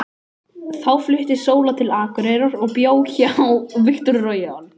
Þá flutti Sóla til Akureyrar og bjó hjá